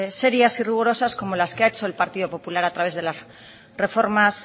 serias y rigurosas como las que ha hecho el partido popular a través de las reformas